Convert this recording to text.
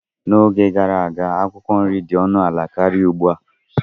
N'oge gara aga, akwụkwọ nri dị ọnụ ala karịa ugbu a.